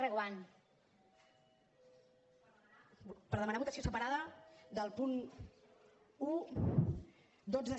per demanar votació separada dels punts un dotze